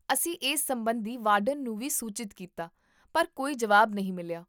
ਅਸੀਂ ਇਸ ਸਬੰਧੀ ਵਾਰਡਨ ਨੂੰ ਵੀ ਸੂਚਿਤ ਕੀਤਾ ਪਰ ਕੋਈ ਜਵਾਬ ਨਹੀਂ ਮਿਲਿਆ